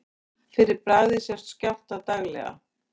Fyrir bragðið sjást skjálftar daglega.